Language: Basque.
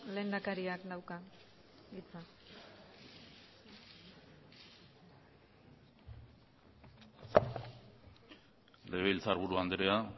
lehendakariak dauka hitza legebiltzarburu andrea